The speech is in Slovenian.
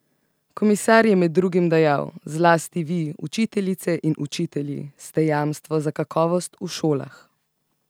Komisar je med drugim dejal: "Zlasti vi, učiteljice in učitelji, ste jamstvo za kakovost v šolah.